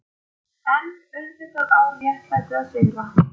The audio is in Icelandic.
EN auðvitað á réttlætið að sigra.